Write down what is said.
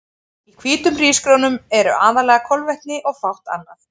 Í hvítum hrísgrjónum eru aðallega kolvetni og fátt annað.